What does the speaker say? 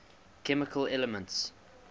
chemical elements